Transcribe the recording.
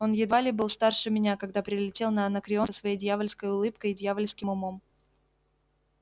он едва ли был старше меня когда прилетел на анакреон со своей дьявольской улыбкой и дьявольским умом